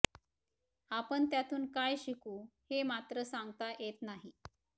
आपण त्यातून काय शिकू हे मात्र सांगता येत नाही